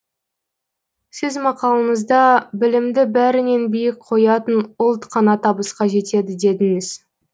сіз мақалаңызда білімді бәрінен биік қоятын ұлт қана табысқа жетеді дедіңіз